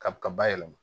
Ka ba yɛlɛma